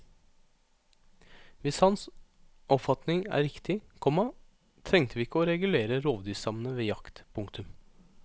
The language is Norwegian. Hvis hans oppfatning er riktig, komma trengte vi ikke å regulere rovdyrstammene ved jakt. punktum